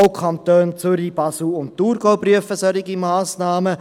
Auch die Kantone Zürich, Basel und Thurgau prüfen solche Massnahmen.